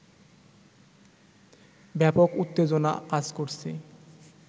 ব্যাপক উত্তেজনা কাজ করছে